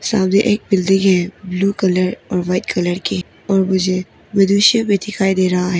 सामने एक बिल्डिंग है ब्लू कलर और वाइट कलर की और मुझे मनुष्य भी दिखाई दे रहा है।